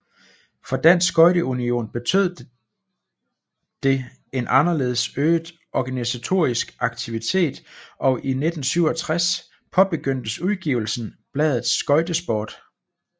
For Dansk Skøjte Union betød det en anderledes øget organisatorisk aktivitet og i 1967 påbegyndtes udgivelsen bladet Skøjtesport